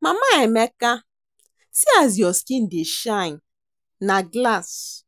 Mama Emeka see as your skin dey shine na glass